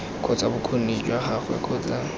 kgotsa bokgoni jwa gagwe kgotsa